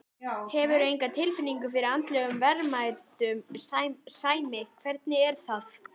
Hefurðu enga tilfinningu fyrir andlegum verðmætum, Sæmi, hvernig er það?